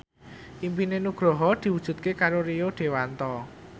impine Nugroho diwujudke karo Rio Dewanto